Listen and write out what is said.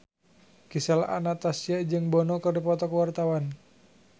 Gisel Anastasia jeung Bono keur dipoto ku wartawan